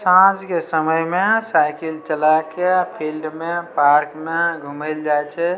साँझ के समय मे साइकिल चला के फील्ड मे पार्क मे घूम ले जाय छै।